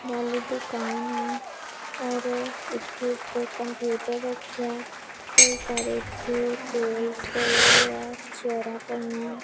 ਵਾਲੀ ਦੁਕਾਨ ਐ ਔਰ ਇੱਥੇ ਇੱਕ ਕੰਪਿਊਟਰ ਰਖੀਐ ਕਈ ਸਾਰੇ ਇੱਥੇ ਟੇਬਲਸ ਪਏ ਹੋਏ ਆ ਚੇਅਰਾਂ ਪਈਐਂ।